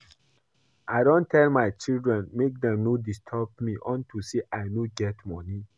I don tell my children make dem no disturb me unto say I no get money